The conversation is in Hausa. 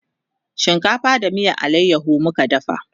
shinkafa da miyan alayaho muka dafa